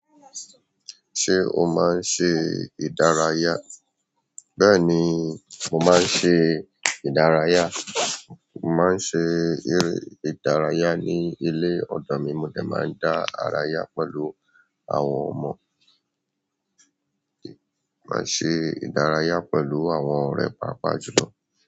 Ṣé o máa ń ṣe ìdárayá? Bẹ́ẹ̀ni, mo máa ń ṣe ìdárayá. Mo máa ń ṣe ìre ìdárayá ní ilé ọ̀dọ̀ mi. Mo de máa ń dá ara yá pẹ̀lú àwọn ọmọ. Màá ṣe ìdárayá pẹ̀lú àwọn ọ̀rẹ́ pàápàá jùlọ.